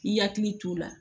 I hakili t'o la